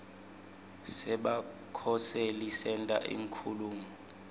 sebakhoseli senta inkhulumo